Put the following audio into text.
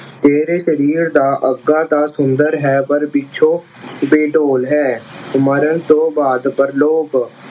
ਤੇਰੇ ਸਰੀਰ ਦਾ ਅੱਗਾ ਤਾਂ ਸੁੰਦਰ ਹੈ ਪਰ ਪਿੱਛੋਂ ਬੇਡੋਲ ਹੈ। ਮਰਨ ਤੋਂ ਬਾਅਦ ਪਰਲੋਕ